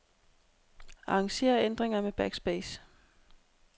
Arranger ændringer med backspace.